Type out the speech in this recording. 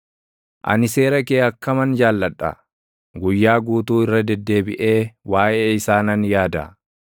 Ani seera kee akkaman jaalladha! Guyyaa guutuu irra deddeebiʼee waaʼee isaa nan yaada.